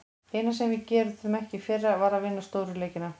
Eina sem við gerðum ekki í fyrra, var að vinna stóru leikina.